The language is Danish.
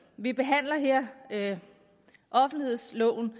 vi behandler her offentlighedsloven